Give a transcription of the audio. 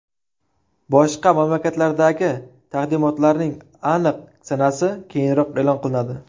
Boshqa mamlakatlardagi taqdimotlarning aniq sanasi keyinroq e’lon qilinadi.